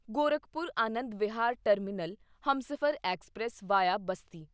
Gorakhpur Anand Vihar terminal Humsafar express via Basti